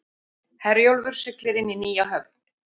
Herjólfur siglir inn í nýja höfn